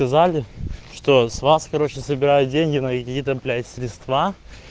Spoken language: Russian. сказали что с вас короче собирает деньги на какие-то блять средства